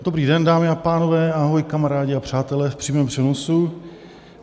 Dobrý den, dámy a pánové, ahoj kamarádi a přátelé v přímém přenosu.